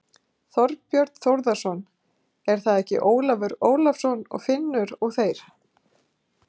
Þorbjörn Þórðarson: Er það ekki Ólafur Ólafsson og Finnur og þeir?